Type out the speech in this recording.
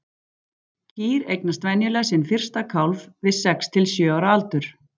Kýr eignast venjulega sinn fyrsta kálf við sex til sjö ára aldur.